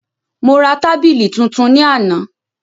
Mo ra tábìlì tuntun ní àná